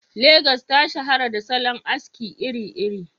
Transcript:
Legas ta shahara da salon aski iri-iri.